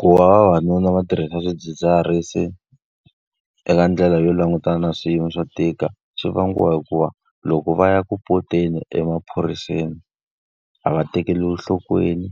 Ku va vavanuna va tirhisa swidzidziharisi eka ndlela yo langutana na swiyimo swo tika swi vangiwa hikuva, loko va ya ku ripoteni emaphoriseni a va tekeriwi enhlokweni.